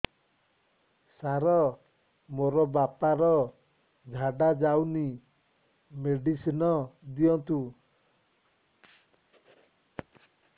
ସାର ମୋର ବାପା ର ଝାଡା ଯାଉନି ମେଡିସିନ ଦିଅନ୍ତୁ